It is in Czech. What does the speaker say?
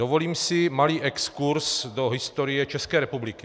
Dovolím si malý exkurs do historie České republiky.